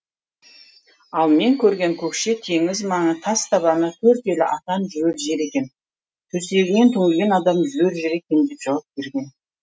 ал мен көрген көкше теңіз маңы тас табаны төрт елі атан жүрер жер екен төсегінен түңілген адам жүрер жер екен деп жауап берген